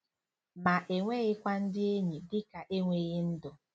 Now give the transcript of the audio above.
Ma enweghịkwa ndị enyi dị ka enweghị ndụ.